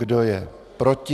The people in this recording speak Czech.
Kdo je proti?